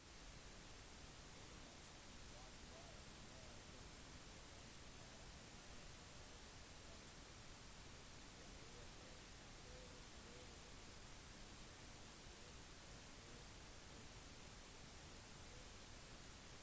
animalske matvarer maur termitter egg er i kontrast ikke bare lett fordøyelig men de gir også proteiner i høy kvantitet som inneholder alle de essensielle